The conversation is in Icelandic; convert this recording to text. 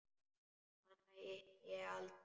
Hana hitti ég aldrei.